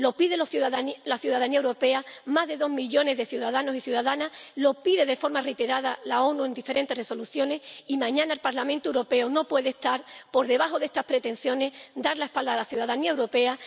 Lo pide la ciudadanía europea —más de dos millones de ciudadanos y ciudadanas—, lo piden de forma reiterada las Naciones Unidas en diferentes resoluciones, y mañana el Parlamento Europeo no puede estar por debajo de estas pretensiones ni dar la espalda a la ciudadanía europea.